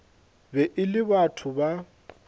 be e le batho ba